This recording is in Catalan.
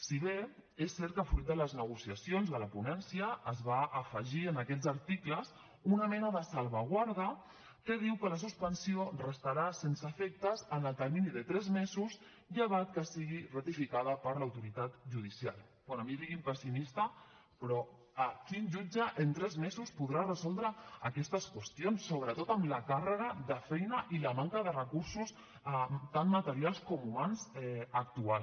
si bé és cert que fruit de les negociacions de la ponència es va afegir en aquests articles una mena de salvaguarda que diu que la suspensió restarà sense efectes en el termini de tres mesos llevat que sigui ratificada per l’autoritat judicial bé a mi digui’m pessimista però quin jutge en tres mesos podrà resoldre aquestes qüestions sobretot amb la càrrega de feina i la manca de recursos tant materials com humans actuals